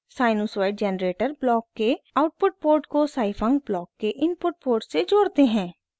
sinusoid generator block के output port को scifunc block के इनपुट पोर्ट से जोड़ते हैं